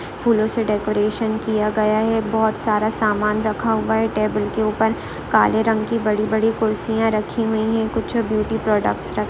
फूलों से डेकोरेशन किया गया है बहुतसारा समान रखा हुआ है टेबल के ऊपर काले रंग की बड़ी बड़ी कुर्सिया रखी हुयी है कुछ ब्युटी प्रोडक्टस रख --